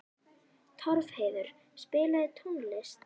Torfheiður, spilaðu tónlist.